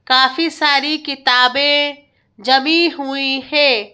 काफी सारी किताबें जमी हुई है।